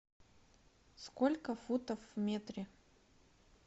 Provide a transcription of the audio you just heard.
сколько футов в метре